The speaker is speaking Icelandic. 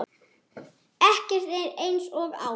Ekkert er eins og áður.